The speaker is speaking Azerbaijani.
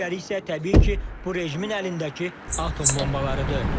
Digəri isə təbii ki, bu rejimin əlindəki atom bombalarıdır.